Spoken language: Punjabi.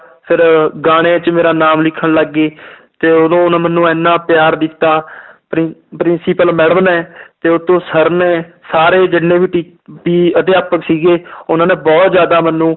ਫਿਰ ਗਾਣੇ 'ਚ ਮੇਰਾ ਨਾਮ ਲਿਖਣ ਲੱਗ ਗਏ ਤੇ ਉਦੋਂ ਉਹਨੇ ਮੈਨੂੰ ਇੰਨਾ ਪਿਆਰ ਦਿੱਤਾ ਪ੍ਰਿ~ principal madam ਨੇ ਤੇ ਉੱਤੋਂ ਸਰ ਨੇ ਸਾਰੇ ਜਿੰਨੇ ਵੀ ਟੀ~ ਵੀ ਅਧਿਾਪਕ ਸੀਗੇ ਉਹਨਾਂ ਨੇ ਬਹੁਤ ਜ਼ਿਆਦਾ ਮੈਨੂੰ